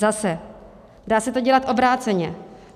Zase, dá se to dělat obráceně.